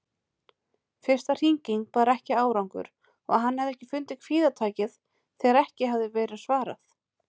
Fyrsta hringing bar ekki árangur og hann hafði fundið kvíðatakið þegar ekki hafði verið svarað.